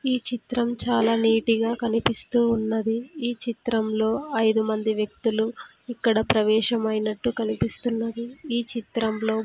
ఈ చిత్రం చాలా నీటిగా కనిపిస్తూ ఉన్నది ఈ చిత్రంలో ఐదు మంది వ్యక్తులు ఇక్కడ ప్రవేశమైనట్టు కనిపిస్తున్నది ఈ చిత్రంలో.